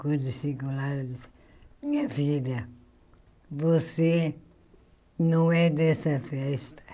Quando chegou lá, ela disse... Minha filha, você não é dessa festa.